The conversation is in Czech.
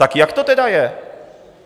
Tak jak to tedy je?